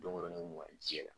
Don wɛrɛ ye ne kun bɛ o ka ji yɛlɛ